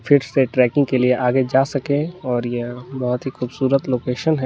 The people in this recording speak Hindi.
फिर से ट्रैकिंग के लिए आगे जा सके और यह बहुत ही खूबसूरत लोकेशन है।